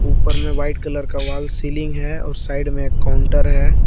ऊपर में white colour का वॉल सीलिंग है उस साइड में एक काउंटर है।